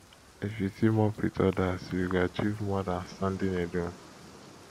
if you team up with others you go achieve more than standing alone